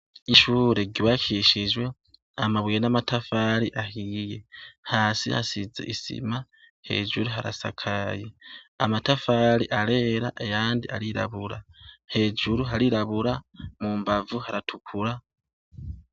Ishure ryubakishijwe amabuye n'amatafari ahiye, hasi hasize isima, hejuru harasakaye. Amatafari arera ayandi arirabura, hejuru harirabura, mu mbavu haratukura.